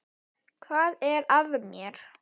Hvað er að mér?